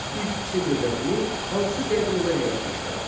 İlk Çin dövlətini hansı qəbilələr yaratmışlar?